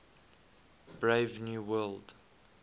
brave new world